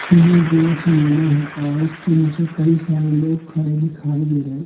सिने जो सिनेमा है और इसके नीचे कई सारे लोग खडे दिखाई दे रहे है।